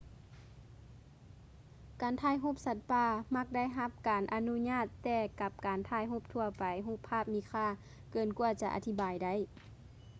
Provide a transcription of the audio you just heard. ການຖ່າຍຮູບສັດປ່າມັກໄດ້ຮັບການອະນຸຍາດແຕ່ກັບການຖ່າຍຮູບທົ່ວໄປຮູບພາບມີຄ່າເກີນກວ່າຈະອະທິບາຍໄດ້